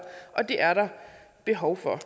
og det er der behov for